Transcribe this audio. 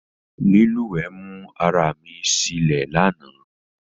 Lílùwé mú ara mi silé lánàá